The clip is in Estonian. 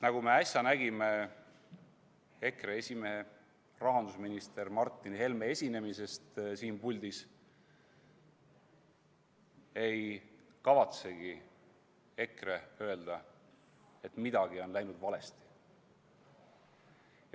Nagu me äsja nägime EKRE esimehe rahandusminister Martin Helme esinemisest siin puldis, ei kavatsegi EKRE öelda, et midagi on läinud valesti.